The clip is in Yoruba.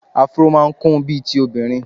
Afro máa ń kún bíi ti obìnrin.